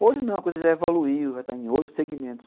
Hoje não, a coisa já evoluiu, já está em outros segmentos.